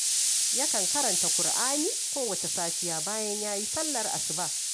Yakan karanta Ƙur'ani kowacce safiya bayan ya yi sallar asuba